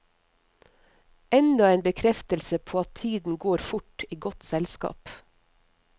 Enda en bekreftelse på at tiden går fort i godt selskap.